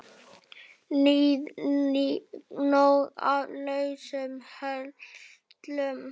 Guðný: Nóg af lausum hellum?